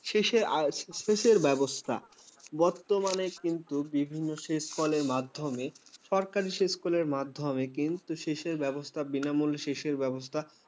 শেষে আসে সেচের ব্যবস্থা। বর্তমানে কিন্তু বিভিন্ন সেচ্কলের মাধ্যমে সরকারি সেচকলের মাধ্যমে কিন্তু সেচের ব্যবস্থা বিনামূল্যে সেচের ব্যবস্থা